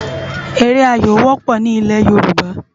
Éré áyó wòpò ni ilē Yoruba